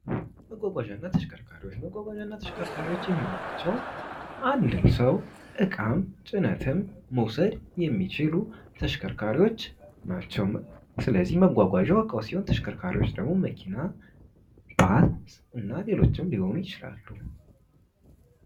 መጓጓዣና ተሽከርካሪዎች፦ መጓጓዣና ተሽከርካሪዎች የምንላቸው አንድን ሰው እቃም ጭነትም መውሰድ የሚችሉ ተሽከርካሪዎች ናቸው ስለዚህ መጓጓዣው እቃው ሲሆን ተሽከርካሪዎች ደግሞ መኪና ሌሎችም ሊሆን ይችላሉ።